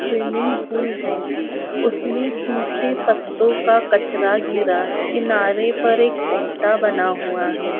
Swimming pool है उसमे सूके पत्थों का कचरा गिरा है किनारे पर एक ओट्टा बना हुआ है।